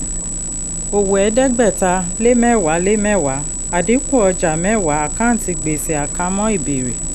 owó ẹ̀ẹ́dẹ́gbẹ̀ta lé mẹ́wàá lé mẹ́wàá àdínkù ọjà mẹ́wàá àkáǹtì gbèsè àkámọ́ ìbẹ̀rẹ̀.